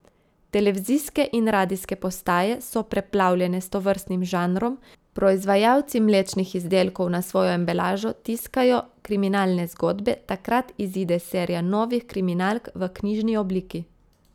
Televizijske in radijske postaje so preplavljene s tovrstnim žanrom, proizvajalci mlečnih izdelkov na svojo embalažo tiskajo kriminalne zgodbe, takrat izide serija novih kriminalk v knjižni obliki.